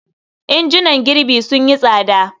Injunan girbi sun yi tsada.